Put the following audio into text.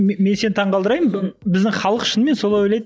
мен сені таңғалдырайын біздің халық шынымен солай ойлайды